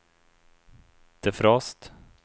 defrost